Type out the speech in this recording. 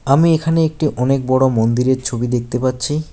আমি এখানে একটি অনেক বড়ো মন্দিরের ছবি দেখতে পাচ্ছি।